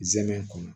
Zɛmɛ kɔnɔ